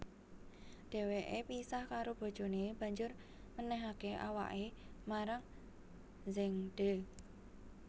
Dheweke pisah karo bojone banjur menehake awake marang Zhengde